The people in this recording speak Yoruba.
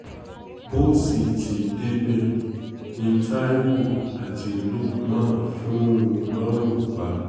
bó sì ti débẹ̀ ni taiwo àti lukman fún un lọ́rùn pa